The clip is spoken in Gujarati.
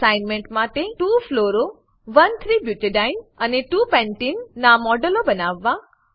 એસાઈનમેંટ માટે 2 ફ્લોરો 1 3 બ્યુટાડીને અને 2 પેન્ટીને નાં મોડેલો બનાવો